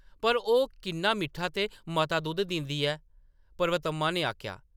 “पर ओह्‌‌ किन्ना मिट्ठा ते मता दुद्ध दिंदी ऐ !” पर्वतम्मा ने आखेआ ।